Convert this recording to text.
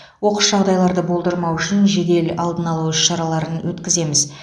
оқыс жағдайларды болдырмау үшін жедел алдын алу іс шараларын өткіземіз